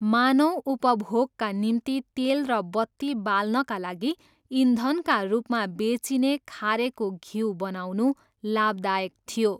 मानव उपभोगका निम्ति तेल र बत्ती बाल्नका लागि इन्धनका रूपमा बेचिने खारेको घ्यु बनाउनु लाभदायक थियो।